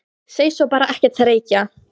Segist svo bara ekkert reykja!?!?